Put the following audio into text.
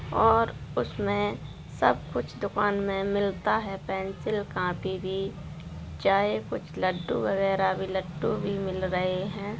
और उसमे सब कुछ दुकान में मिलता है पेंसिल कॉपी भी चाय कुछ लड्डू वगरेह भी लट्टू भी मिल रहे हैं।